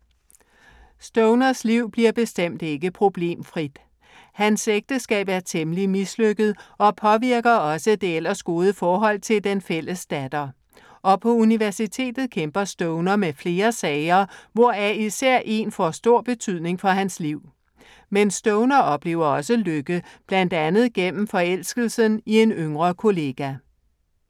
Stoners liv bliver bestemt ikke problemfrit. Hans ægteskab er temmelig mislykket og påvirker også det ellers gode forhold til den fælles datter. Og på universitetet kæmper Stoner med flere sager, hvoraf især én får stor betydning for hans liv. Men Stoner oplever også lykke, blandt andet gennem forelskelsen i en yngre kollega.